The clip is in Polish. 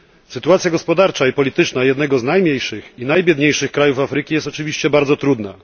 Sytuacja gospodarcza i polityczna jednego z najmniejszych i najbiedniejszych krajów Afryki jest oczywiście bardzo trudna.